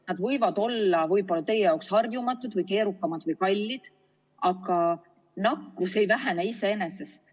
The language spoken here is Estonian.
Need võivad olla teie jaoks harjumatud või keerukad ja kallid, aga nakkus ei vähene iseenesest.